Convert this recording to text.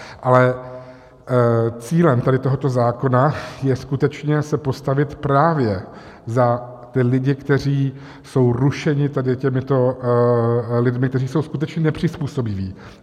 Ale cílem tady toho zákona je skutečně se postavit právě za ty lidi, kteří jsou rušeni těmito lidmi, kteří jsou skutečně nepřizpůsobiví.